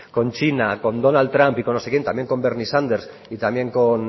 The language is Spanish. con china con donald trump y con no sé quién también bernie sanders y también con